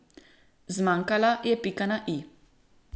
Zmanjkala je pika na i.